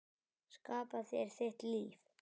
Skapa þér þitt líf.